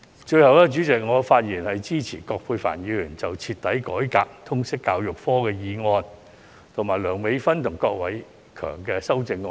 最後，我發言支持葛珮帆議員所提出"徹底改革通識教育科"的議案，以及梁美芬議員及郭偉强議員的修正案。